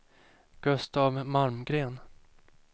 Gustaf Malmgren